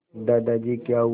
दादाजी क्या हुआ